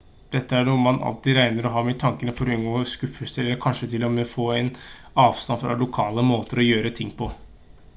dette er noe man alltid trenger å ha i tankene for å unngå skuffelser eller kanskje til og med få en avstand fra lokale måter å gjøre ting på